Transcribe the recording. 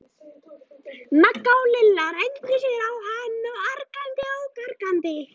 Magga og Lilla renndu sér á hann argandi og gargandi.